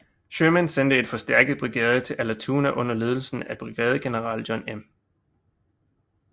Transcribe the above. Sherman sendte en forstærket brigade til Allatoona under ledelse af brigadegeneral John M